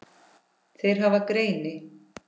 Þeir hafa greini